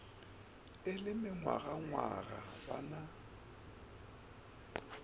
e le mengwagangwaga ba na